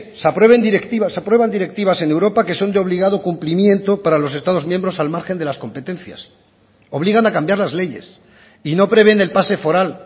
se aprueban directivas en europa que son de obligado complimiento para los estado miembros al margen de las competencias obligan a cambiar las leyes y no prevén el pase foral